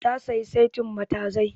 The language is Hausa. Ta sayi setin matazai